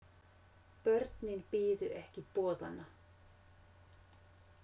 Börnin biðu ekki boðanna.